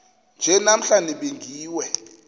nje namhla nibingiwe